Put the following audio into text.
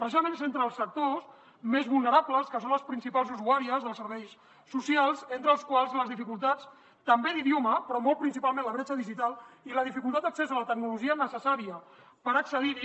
precisament és entre els sectors més vulnerables que són les principals usuàries dels serveis socials entre els quals les dificultats també d’idioma però molt principalment la bretxa digital i la dificultat d’accés a la tecnologia necessària per accedir hi